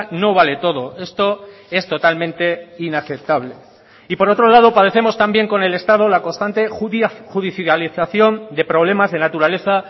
no vale todo esto es totalmente inaceptable y por otro lado padecemos también con el estado la constante judicialización de problemas de naturaleza